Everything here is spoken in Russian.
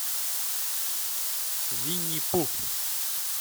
винни пух